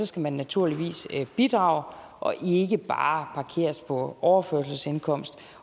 skal man naturligvis bidrage og ikke bare parkeres på overførselsindkomst